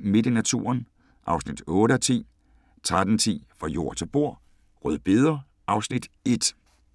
Midt i naturen (8:10) 13:10: Fra jord til bord: Rødbeder (Afs. 1)